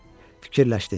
Fikirləşdi.